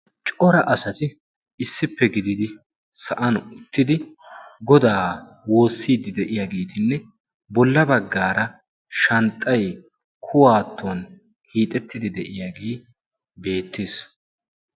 Cora asati issippe gididi sa'an uttidi Goda woossidi de'iyaageetinne bolla baggara shanxxay kuwaatton hiixettidi de'iyaagee beettes.